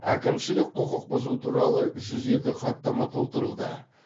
әкімшілік құқық бұзу туралы жүз екі хаттама толтырылды